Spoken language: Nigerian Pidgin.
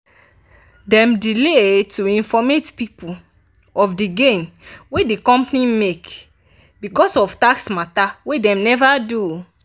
dem delay to informate people of di gain wey di company make becos of tax matter wey dem never do.